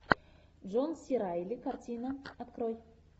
джон си райли картина открой